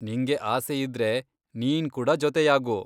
ನಿಂಗೆ ಆಸೆಯಿದ್ರೆ ನೀನ್ ಕೂಡಾ ಜೊತೆಯಾಗು.